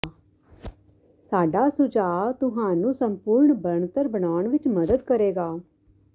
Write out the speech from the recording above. ਸਾਡਾ ਸੁਝਾਅ ਤੁਹਾਨੂੰ ਸੰਪੂਰਣ ਬਣਤਰ ਬਣਾਉਣ ਵਿੱਚ ਮਦਦ ਕਰੇਗਾ